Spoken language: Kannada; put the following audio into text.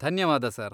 ಧನ್ಯವಾದ ಸರ್.